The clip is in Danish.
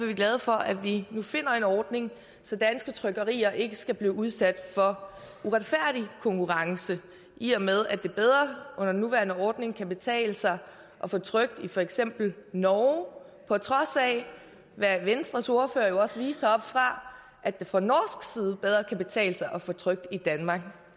vi glade for at vi nu finder en ordning så danske trykkerier ikke skal blive udsat for uretfærdig konkurrence i og med at det bedre under den nuværende ordning kan betale sig at få trykt i for eksempel norge på trods af hvad venstres ordfører jo også viste heroppefra at det fra norsk side bedre kan betale sig at få trykt i danmark